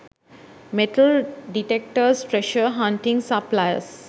metal detectors treasure hunting supplies